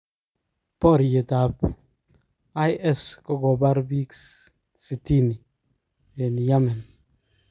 ponyginet ap IS kokopar pik 60 en Yamen